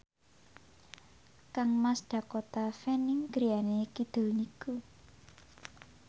kangmas Dakota Fanning griyane kidul niku